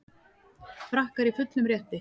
Frakkar í fullum rétti